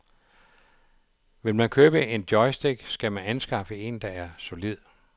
Vil man købe en joystick, skal man anskaffe en, der er solid.